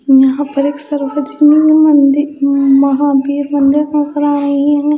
यहां पर एक सरोजिनी मंदिर महावीर मंदिर नजर आ रही है।